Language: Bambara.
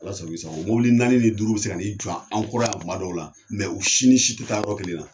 Ala sako i sako mobili naani ni duuru be se ka n'i jɔ an kɔrɔ kuma dɔw la , u si ni si te taa yɔrɔ kelen na.